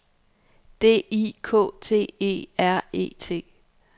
D I K T E R E T